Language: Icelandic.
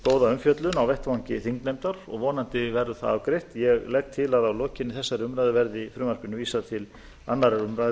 góða umfjöllun á vettvangi þingnefndar og vonandi verður það afgreitt ég legg til að að lokinni þessari umræðu verði frumvarpinu vísað til annarrar umræðu